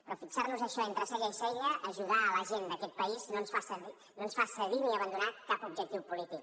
però fixar nos això entre cella i cella ajudar la gent d’aquest país no ens fa cedir ni abandonar cap objectiu polític